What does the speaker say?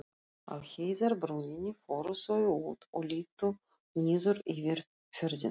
Á heiðarbrúninni fóru þau út og litu niður yfir fjörðinn.